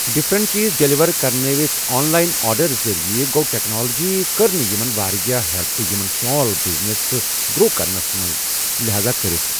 different چیٖز deliver کرنٲوِتھ online order ذٔریعہٕ گوٚو ٹٮ۪کنالجی کٔر نہٕ یِمن واریاہ ہٮ۪لٕپ یِمن سُمال بِزنسن تہٕ گرو کرنس منٛزلہذا کٔرتھ